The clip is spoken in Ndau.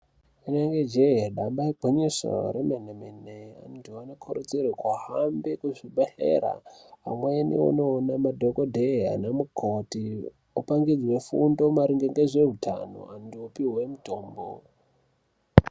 Ine ge jee damba igwinyiso remene mene antu anokurudzirwe kuhambe kuzvibhedhlera amweni anoone madhokodheya ana mukoti upangidzwe fundo maringe ngezveutano Antu opihwe mutombo.